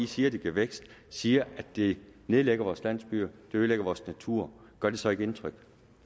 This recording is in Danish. siger at det giver vækst siger at det nedlægger vores landsbyer det ødelægger vores natur gør det så ikke indtryk